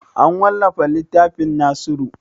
An wallafa littafin nasiru?